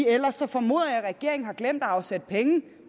ellers formoder jeg at regeringen har glemt at afsætte penge